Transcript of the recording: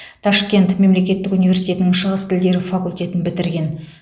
ташкент мемлекеттік университетінің шығыс тілдері факультетін бітірген